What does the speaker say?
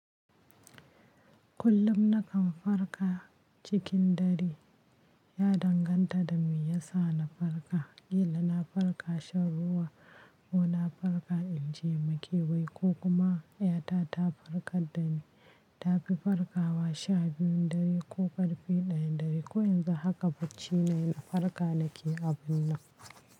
Kullum na kan farka cikin ɗare, ya danganta da me ya sa na farka, kila na farka shan ruwa ko na farka inje makewayi ko kuma yata ta farkar dani. Ta fi farkawa sha biyun ɗare ko karfe ɗayan ɗare ko yanzu haka bacci nayi na farka nake abun nan.